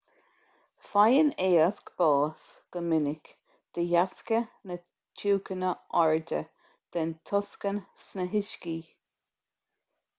faigheann éisc bás go minic de dheasca na tiúchana airde den tocsain sna huiscí